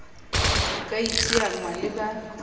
ho ka iteanngwa le ba